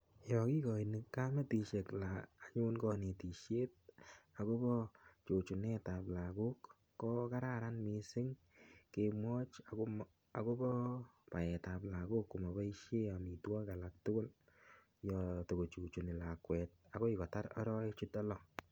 Yo kikoini kametushek konetishet akobo chuchunet ap lakok ko kararan mising kemwoch akobo naet ap lakoko amaboishe omitwok alak tukul yo tokochichuni lakwet akoi kotar arowek chutok lo.